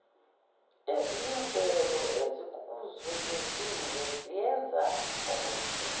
eziyimvelo ezikuzungezile ziyenzaukuthi